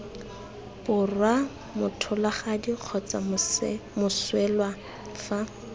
borwa motlholagadi kgotsa moswelwa fa